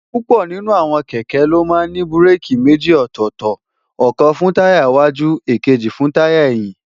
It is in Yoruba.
púpọ̀ nínú àwọn kẹ̀kẹ́ ló ní búréèkì méjì ọ̀tọ̀ọ̀tọ̀, ọ̀kan fún táyà iiwájú, èkejì fún táyà ẹ̀yìn